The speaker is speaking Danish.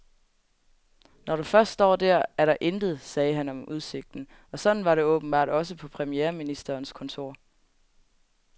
Når du først står der, er der intet, sagde han om udsigten, og sådan var det åbenbart også på premierministerens kontor.